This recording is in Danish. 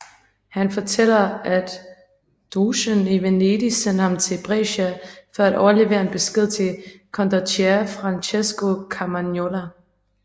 Han fortæller at dogen i Venedig sendte ham til Brescia for at overlevere en besked til condottiere Francesco Carmagnola